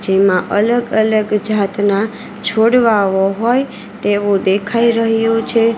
જેમાં અલગ અલગ ઝાતના છોડવાઓ હોય તેવુ દેખાઈ રહ્યુ છે.